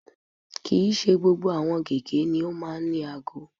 Kì í ṣe gbogbo gẹ̀gẹ́ ni ó máa ń ní aago